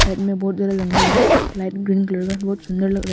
खाई में बहुत ज्यादा जंगल है लाइट ग्रीन कलर का बहुत सुंदर लग रहा है।